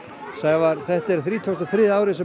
Sævar þetta er þrítugasta og þriðja árið sem